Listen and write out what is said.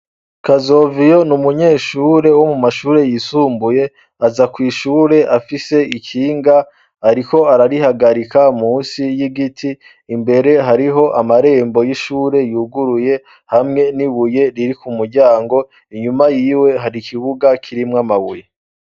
Kazoviyo, n'umunyeshure wo mu mashure yisumbuye, aza kw'ishure afise ikinga ariko ararihagarika munsi y'igiti, imbere hariho amarembo y'ishure yuguruye hamwe n'ibuye riri ku muryango, inyuma yiwe har'ikibuga kirimwo amabuye.